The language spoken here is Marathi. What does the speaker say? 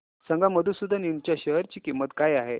सांगा मधुसूदन इंड च्या शेअर ची किंमत काय आहे